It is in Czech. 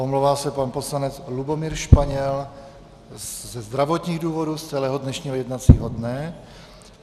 Omlouvá se pan poslanec Lubomír Španěl ze zdravotních důvodů z celého dnešního jednacího dne.